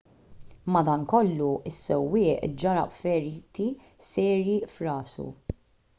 madankollu is-sewwieq ġarrab feriti serji f'rasu